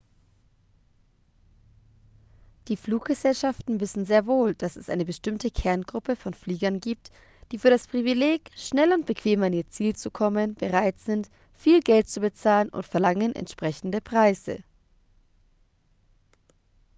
die fluggesellschaften wissen sehr wohl dass es eine bestimmte kerngruppe von fliegern gibt die für das privileg schnell und bequem an ihr ziel zu kommen bereit sind viel geld zu bezahlen und verlangen entsprechende preise